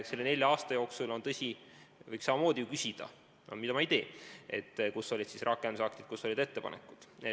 Selle nelja aasta kohta võiks ju samamoodi küsida – aga seda ma ei tee –, kus olid siis rakendusaktid, kus olid ettepanekud.